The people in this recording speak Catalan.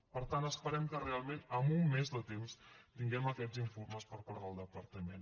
per tant esperem que realment amb un mes de temps tinguem aquests informes per part del departament